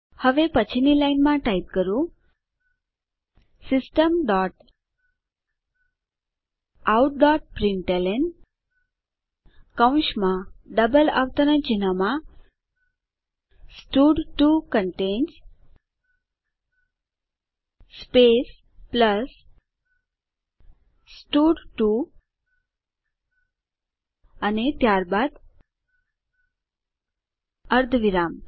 હવે પછીની લાઈનમાં ટાઈપ કરો system dot out dot println કૌંસમાં ડબલ અવતરણ ચિહ્નમાં stud two contains space plus stud two અને ત્યારબાદ અર્ધવિરામ